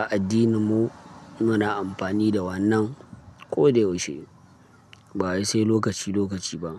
a addininmu muna amfani da wannan koyaushe ba wai sai lokaci, lokaci ba.